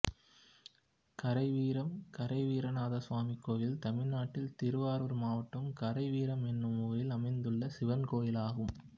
கரைவீரம் கரைவீரநாதசாமி கோயில் தமிழ்நாட்டில் திருவாரூர் மாவட்டம் கரைவீரம் என்னும் ஊரில் அமைந்துள்ள சிவன் கோயிலாகும்